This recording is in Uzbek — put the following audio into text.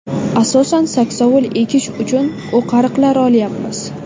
Asosan saksovul ekish uchun o‘qariqlar olyapmiz.